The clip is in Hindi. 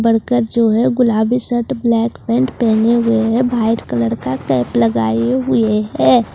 वर्कर जो है गुलाबी शर्ट ब्लैक पैंट पहने हुए है वाइट कलर का कैप लगाए हुए है।